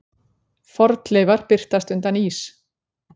Fornleifar birtast undan ís